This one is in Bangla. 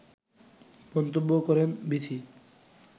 মন্তব্য করেন বীথি